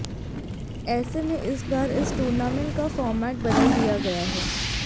ऐसे में इस बार इस टूर्नामेंट का फॉर्मेट बदल दिया गया है